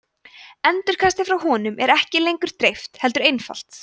endurkastið frá honum er ekki lengur dreift heldur einfalt